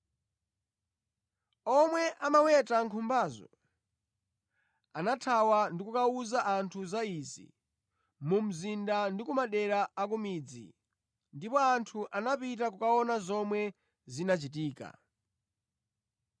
Omwe amaweta nkhumbazo anathawa ndi kukawuza anthu za izi mu mzinda ndi ku madera a ku midzi, ndipo anthu anapita kukaona zomwe zinachitika.